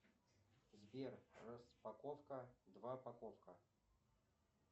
сбер распаковка двапаковка